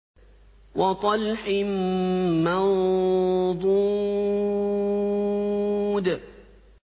وَطَلْحٍ مَّنضُودٍ